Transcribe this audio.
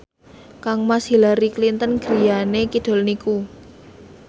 kangmas Hillary Clinton griyane kidul niku